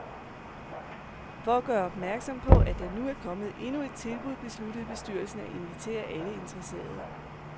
For at gøre opmærksom på, at der nu er kommet endnu et tilbud, besluttede bestyrelsen at invitere alle interesserede.